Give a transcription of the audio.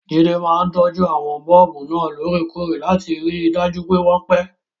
Jide máa ń tọ́jú àwọn bọ́ọ̀bù náà lóòrèkóòrè láti rí i dájú pé wọ́n pẹ́.